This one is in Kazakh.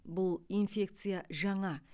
бұл инфекция жаңа